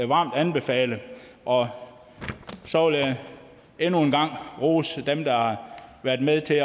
varmt anbefale og så vil jeg endnu en gang rose dem der har været med til